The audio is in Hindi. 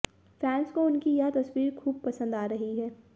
फैंस को उनकी यह तस्वीर खूब पसंद आ रही है